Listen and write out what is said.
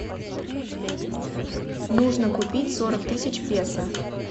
нужно купить сорок тысяч песо